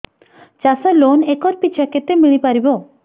ଚାଷ loan acre ପିଛା କେତେ ମିଳି ପାରିବ